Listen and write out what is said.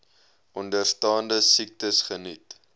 onderstaande siektes geniet